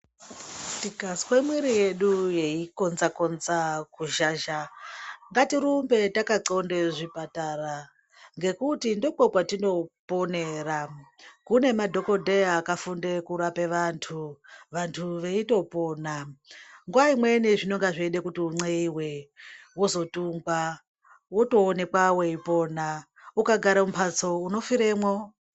Tikazwe mwiri yedu yei konza konza ku zhazha ngati rumbe taka ndxonde zvipatara ngekuti ndiko kwatino ponera kune madhokodheya aka funde kurape vantu vantu veito pona nguva imweni zvinonga zveida kuti u n'eyiwe wozo tungwa woto onekwa wei pona uka gare mu mbatso uno firemwo.